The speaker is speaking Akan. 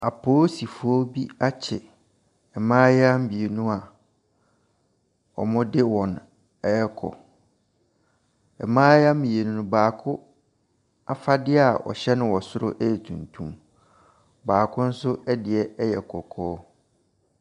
Apoosifoɔ bi akye mmaayeaa mmienu a wɔde wɔn rekɔ. Mmaayeaa mmienu no, baako afadeɛ a ɔhyɛ no wɔ soro yɛ tuntum. Baako nso deɛ yɛ kɔkɔɔ.